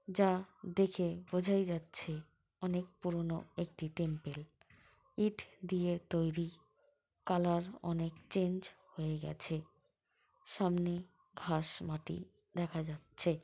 যা দেখে বোঝাই যাচ্ছে অনেক পুরোনো একটি টেম্পল ইট দিয়ে তৈরি কালার অনেক চেঞ্জ হয়ে গেছে সামনে ঘাস মাটি দেখা যাচ্ছে।